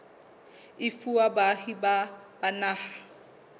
e fuwa baahi ba naha